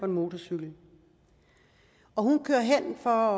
motorcykel hun kører hen for